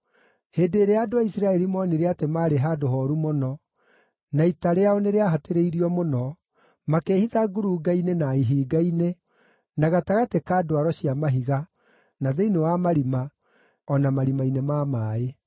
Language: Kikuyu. Hĩndĩ ĩrĩa andũ a Isiraeli moonire atĩ maarĩ handũ hooru mũno, na ita rĩao nĩrĩahatĩrĩirio mũno, makĩĩhitha ngurunga-inĩ na ihinga-inĩ, na gatagatĩ ka ndwaro cia mahiga, na thĩinĩ wa marima, o na marima-inĩ ma maaĩ.